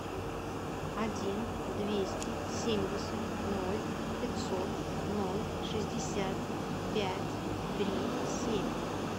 один двести семьдесят ноль пятьсот ноль шестьдесят пять три семь